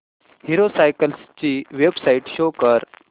hero cycles ची website show कर